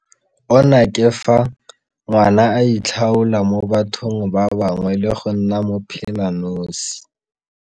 Ona ke fa, ngwana a itlhaola mo bathong ba bangwe le go nna mophelanosi.